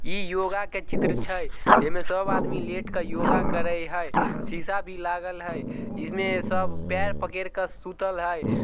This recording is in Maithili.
इ योगा के चित्र छै जे मे सब आदमी लेट के योगा करे हेय शीशा भी लागल हेय इने सब पैर पकड़ के सुतल हेय।